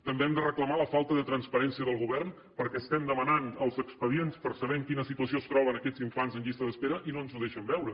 també hem de reclamar la falta de transparència del govern perquè estem demanant els expedients per saber en quina situació es troben aquests infants en llista d’espera i no ens ho deixen veure